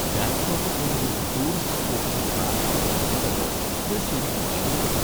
ഗാംഗ്ടോക്ക് പോലൊരു ടൂറിസ്റ്റ് സ്പോട്ടിലെ ട്രാഫിക്കിന്റെ ക്രമം കണ്ട് ഞാൻ ശെരിക്കും അത്ഭുതപ്പെട്ടു.